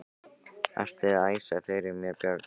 Ertu að æsa fyrir mér börnin Haddi!